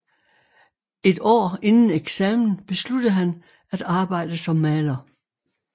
Et år inden eksamen besluttede han at arbejde som maler